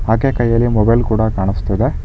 ಆಕೆ ಕೈಯಲ್ಲಿ ಮೊಬೈಲ್ ಕೂಡ ಕಾಣಿಸ್ತಿದೆ.